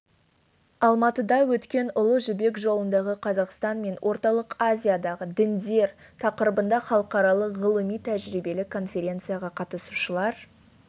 алматыда өткен ұлы жібек жолындағы қазақстан мен орталық азиядағы діндер тақырыбында халықаралық ғылыми-тәжірибелік конференцияға қатысушылар